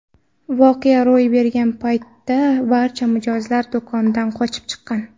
Voqea ro‘y bergan paytda barcha mijozlar do‘kondan qochib chiqqan.